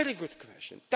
campaign? A very good